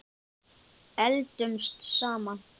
Eldumst saman.